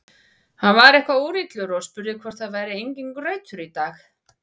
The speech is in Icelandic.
Hann var eitthvað úrillur og spurði hvort það væri enginn grautur í dag.